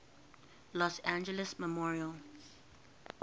los angeles memorial